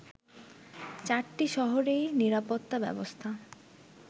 চারটি শহরেই নিরাপত্তা ব্যবস্থা